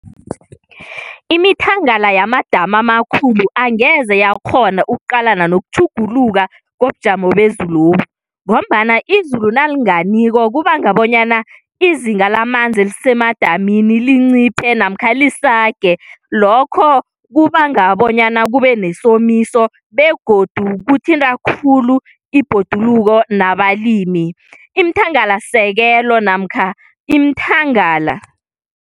Imithangala yamadamu amakhulu angeze yakghona ukuqalana nokutjhugutjhuluka kobujamo bezulobu ngombana izulu nalinganiko kubanga bonyana izinga lamanzi elisemadamini linciphe namkha lisage lokho kubanga bonyana kube nesomiso begodu kuthinta khulu ibhoduluko nabalimi, iimthangalasisekelo namkha iimthangala.